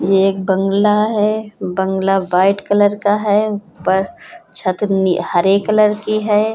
ये एक बंग्ला है। बंग्ला व्हाइट कलर का है। ऊपर छत नी हरे कलर की है।